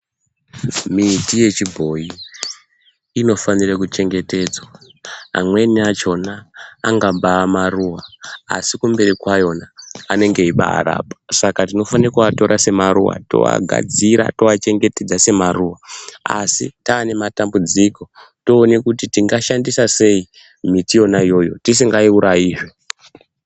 Miti yechiboyi inofanire kuchengetedzwa, amweni achona angambaamaruwa asi kumberi kwayona anenge eibaarapa saka tinofana kuatora semaruwa toagadzira, toachengetedza semaruwa asi taane matambudziko toone kuti tingashandisa sei miti yona iyoyo tisingaiurayi zvee.